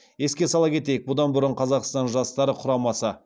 еске сала кетейік бұдан бұрын қазақстан жастары құрамасы